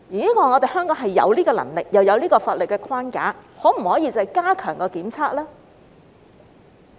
香港有這樣的能力，亦有法律框架，可否加強檢測呢？